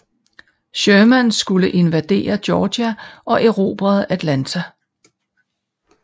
Sherman skulle invadere Georgia og erobre Atlanta